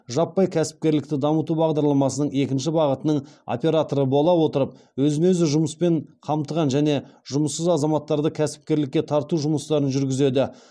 жаппай кәсіпкерлікті дамыту бағдарламасының екінші бағытының операторы бола отырып өзін өзі жұмыспен қамтыған және жұмыссыз азаматтарды кәсіпкерлікке тарту жұмыстарын жүргізеді